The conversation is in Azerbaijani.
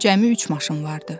Cəmi üç maşın vardı.